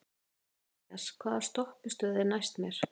Marías, hvaða stoppistöð er næst mér?